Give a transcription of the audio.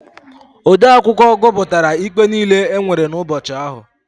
Odeakwụkwọ gụpụtara ikpe niile e nwere n'ubọchị ahụ.